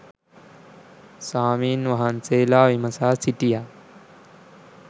ස්වාමීන් වහන්සේලා විමසා සිටියා